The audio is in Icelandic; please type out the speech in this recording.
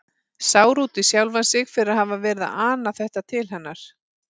Sár út í sjálfan sig fyrir að hafa verið að ana þetta til hennar.